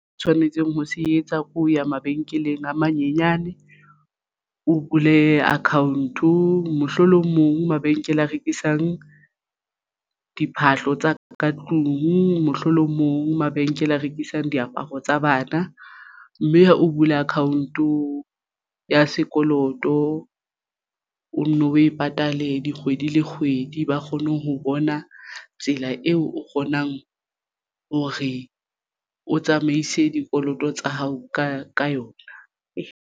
Tshwanetseng ho se etsa ke ho ya mabenkeleng a manyenyane o bule account-o mohlolomong mabenkele a rekisang diphahlo tsa ka tlung mohlolomong mabenkele a rekisang diaparo tsa bana mme o bule account-o ya sekoloto o nne o e patale kgwedi le kgwedi ba kgone ho bona tsela eo o kgonang ho re o tsamaise dikoloto tsa hao ka yona.